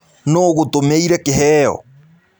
Nũ ũgũtũmĩĩre kĩheo?